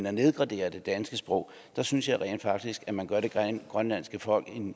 at nedgradere det danske sprog synes jeg faktisk at man gør det grønlandske folk